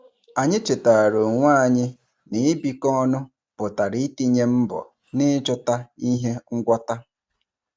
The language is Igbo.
Anyị chetara onwe anyị na ibikọ ọnụ pụtara itinye mbọ n'ịchọta ihe ngwọta.